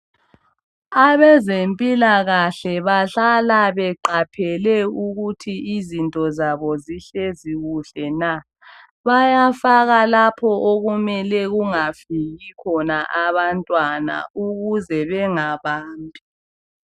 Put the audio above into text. Abezempilakahle bahlala beqaphele ukuthi izinto zabo zihlezi kuhle na. Bayafaka lapho okumele kungafiki khona abantwana ukuze bengabambi.